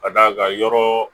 Ka d'a kan yɔrɔ